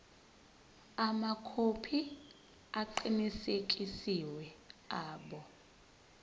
amakhophi aqinisekisiwe abo